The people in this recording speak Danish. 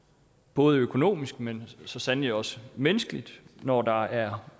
både økonomisk men så sandelig også menneskeligt når der er